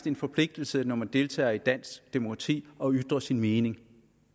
en forpligtelse når man deltager i dansk demokrati at ytre sin mening